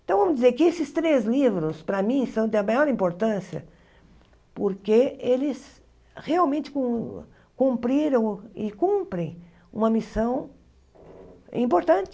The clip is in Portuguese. Então vamos dizer que esses três livros, para mim, são da maior importância porque eles realmente cum cumpriram e cumprem uma missão importante.